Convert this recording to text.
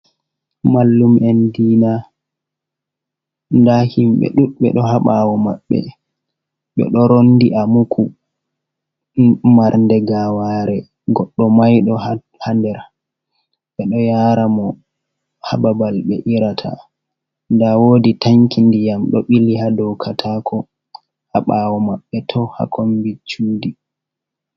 Mallum'en diina, nda himɓe duɗɓe ɗo habawo maɓɓe je ɗo rondi a muku mar nde gaware goɗɗo maiɗo ha nder, ɓe ɗo yara mo hababal ɓe irata, nda wodi tanki ndiyam ɗo bili ha dow katako ha bawo maɓɓe toh ha kombi cuɗi.